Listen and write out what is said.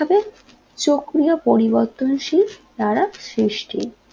চক্রীয় পরিবর্তনশীল দ্বারা সৃষ্টি